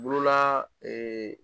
Bolola ee